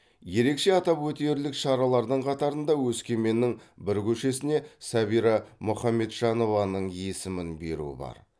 ерекше атап өтерлік шаралардың қатарында өскеменнің бір көшесіне сәбира мұхамеджанованың есімін беру бар